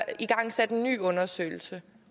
igangsat en ny undersøgelse